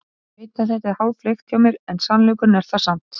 Ég veit að þetta er háfleygt hjá mér en sannleikur er það samt.